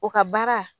O ka baara